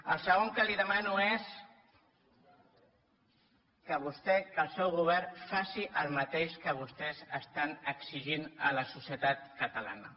el segon que li demano és que vostè que el seu govern faci el mateix que vostès estan exigint a la societat catalana